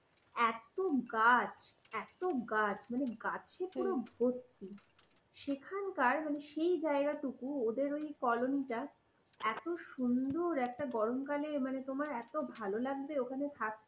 এত গাছ, এতো গাছ, মানে গাছে পুরো ভর্তি। সেখানকার সেই জায়গাটুকু ওদের ওই কলোনিটা এত সুন্দর একটা গরমকালে মানে তোমার এত ভালো লাগবে ওখানে থাকতে।